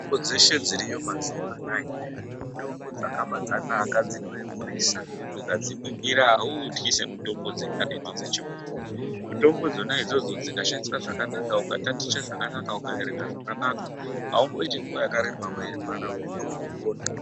Mitombo dzeshe dziriyo mazuwa anawa mitombo dzakabanaka maningi dzinoemurisa dzekuti ukadziningira awuutyi semitombo dzekaretu dzechibhoyi mutombo dzona idzodzo dzikashandiswa zvakanaka ukataticha zvakanaka ukaerenga zvakanaka awumboyiti nguwa yakareba weirwadza unenge watopona.